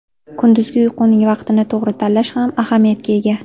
Kunduzgi uyquning vaqtini to‘g‘ri tanlash ham ahamiyatga ega.